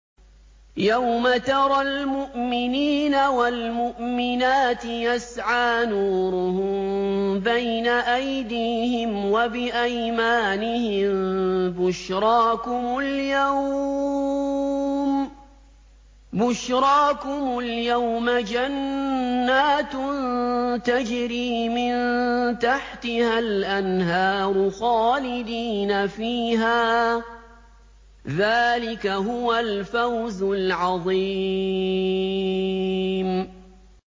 يَوْمَ تَرَى الْمُؤْمِنِينَ وَالْمُؤْمِنَاتِ يَسْعَىٰ نُورُهُم بَيْنَ أَيْدِيهِمْ وَبِأَيْمَانِهِم بُشْرَاكُمُ الْيَوْمَ جَنَّاتٌ تَجْرِي مِن تَحْتِهَا الْأَنْهَارُ خَالِدِينَ فِيهَا ۚ ذَٰلِكَ هُوَ الْفَوْزُ الْعَظِيمُ